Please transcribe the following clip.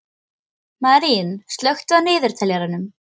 Marín, slökktu á niðurteljaranum.